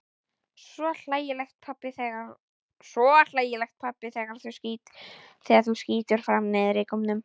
Svo hlægilegt pabbi þegar þú skýtur fram neðrigómnum.